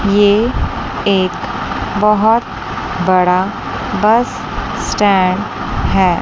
ये एक बहोत बड़ा बस स्टैंड है।